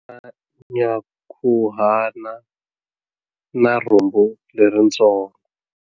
U na nyankhuhana na rhumbu leritsongo.